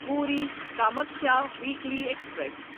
Puri Kamakhya weekly express